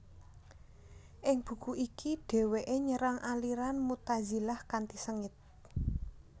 Ing buku iki dheweke nyerang aliran Mu tazilah kanthi sengit